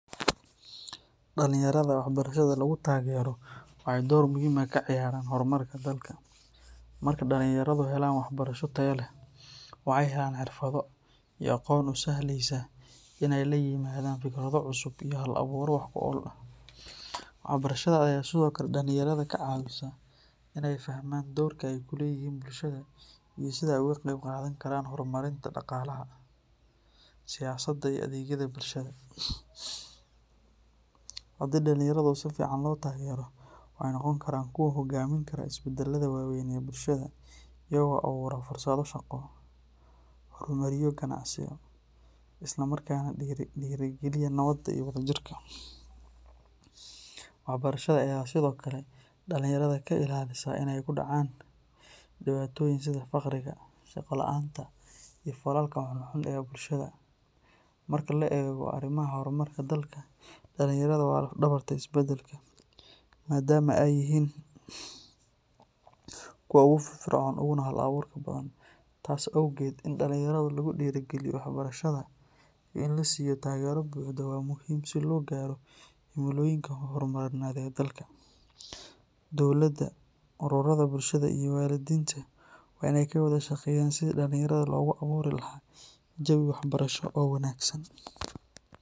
Dalinyarada waxbarashada lagu tagero waxay door muhiim ah ka ciyaaraan hormarka dalka. Marka dhalinyaradu helaan waxbarasho tayo leh, waxay helaan xirfado iyo aqoon u sahlaysa inay la yimaadaan fikrado cusub iyo hal-abuuro wax ku ool ah. Waxbarashada ayaa sidoo kale dhalinyarada ka caawisa inay fahmaan doorka ay ku leeyihiin bulshada iyo sida ay uga qayb qaadan karaan horumarinta dhaqaalaha, siyaasadda, iyo adeegyada bulshada. Haddii dalinyaradu si fiican loo taageero, waxay noqon karaan kuwo hogaamin kara isbeddelada waaweyn ee bulshada, iyagoo abuura fursado shaqo, horumariyo ganacsiyo, isla markaana dhiirrigeliya nabadda iyo wadajirka. Waxbarashada ayaa sidoo kale dhalinyarada ka ilaalisa inay ku dhacaan dhibaatooyin sida faqriga, shaqo la’aanta, iyo falalka xunxun ee bulshada. Marka la eego arrimaha horumarka dalka, dalinyaradu waa laf-dhabarta isbeddelka, maadaama ay yihiin kuwa ugu firfircoon uguna hal-abuurka badan. Taas awgeed, in dalinyarada lagu dhiirrigeliyo waxbarashada iyo in la siiyo taageero buuxda waa muhiim si loo gaaro himilooyinka horumarineed ee dalka. Dowladda, ururada bulshada, iyo waalidiinta waa inay ka wada shaqeeyaan sidii dhalinyarada loogu abuuri lahaa jawi waxbarasho oo wanaagsan.